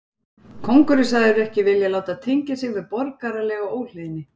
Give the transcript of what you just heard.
Kóngur er sagður ekki vilja láta tengja sig við borgaralega óhlýðni.